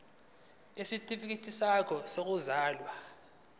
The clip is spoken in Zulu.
isitifikedi sakho sokuzalwa